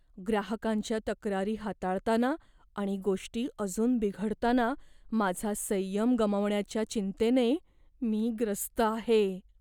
ग्राहकांच्या तक्रारी हाताळताना आणि गोष्टी अजून बिघडताना माझा संयम गमावण्याच्या चिंतेने मी ग्रस्त आहे.